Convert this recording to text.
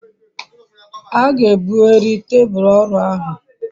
a ga ebughari tebul oru ahu